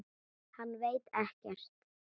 Hann veit ekkert.